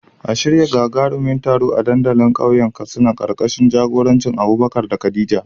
A shirya gagarumin taro a dandalin kauyen Katsina, karkashin jagorancin Abubakar da Khadija.